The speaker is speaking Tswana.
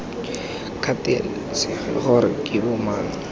kgathalesege gore ke bo mang